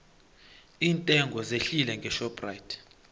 iintengo zehlile ngeshoprite